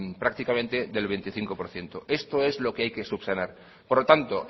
prácticamente del veinticinco por ciento esto es lo que hay que subsanar por lo tanto